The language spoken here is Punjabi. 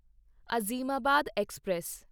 ਅਜ਼ੀਮਾਬਾਦ ਐਕਸਪ੍ਰੈਸ